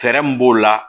Fɛɛrɛ min b'o la